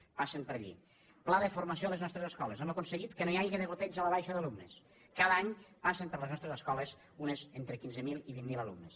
passen per allí pla de formació a les nostres escoles hem aconseguit que no hi hagi degoteig a la baixa d’alumnes cada any passen per les nostres escoles entre quinze mil i vint mil alumnes